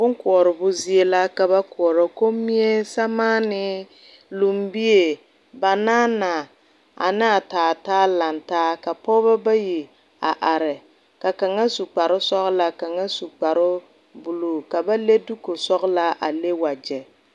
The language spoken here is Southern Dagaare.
Bunkouria zie la ka ba kuori kunmii, samaanii, lɔmbii banana anaa taa taa langtaa ka pɔgba bayi a arẽ ka kanga su kpare sɔglaa ka kang su kpare blue ka ba le duuku sɔglaa a le wuje.